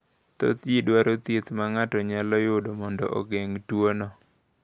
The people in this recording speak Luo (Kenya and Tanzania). Thoth ji dwaro thieth ma ng’ato nyalo yudo mondo ogeng’ tuwono.